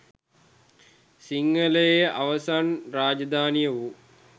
සිංහලයේ අවසන් රාජධානිය වූ